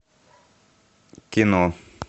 кино